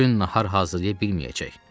Bu gün nahar hazırlaya bilməyəcək.